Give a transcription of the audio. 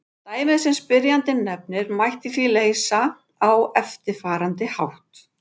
Dæmið sem spyrjandi nefnir mætti því leysa á eftirfarandi hátt.